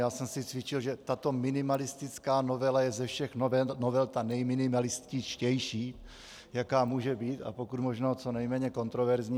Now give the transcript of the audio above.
Já jsem si cvičil, že tato minimalistická novela je ze všech novel ta nejminimalističtější, jaká může být, a pokud možno co nejméně kontroverzní.